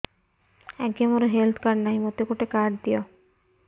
ଆଜ୍ଞା ମୋର health card ନାହିଁ ମୋତେ ଗୋଟେ କାର୍ଡ ଦିଅ